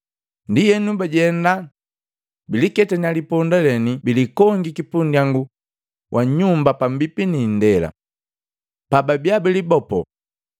Ndienu bajenda, biliketanya liponda leni bilikongiki pundyangu wa nyumba pambipi ni indela. Pababia bilibopo,